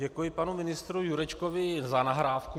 Děkuji panu ministru Jurečkovi za nahrávku.